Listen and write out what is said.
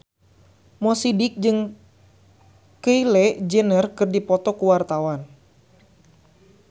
Mo Sidik jeung Kylie Jenner keur dipoto ku wartawan